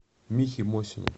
михе мосину